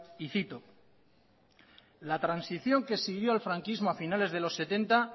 y cito la transición que siguió al franquismo a finales de los setenta